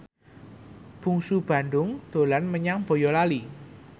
Bungsu Bandung dolan menyang Boyolali